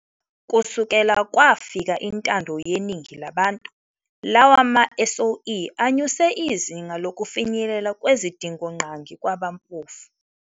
Kusukela kwafika intando yeningi labantu, lawa ma-SOE anyuse izinga lokufinyelela kwezidingongqangi kwabampofu.